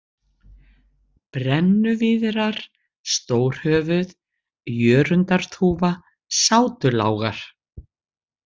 Brennuvíðrar, Stórhöfuð, Jörundarþúfa, Sátulágar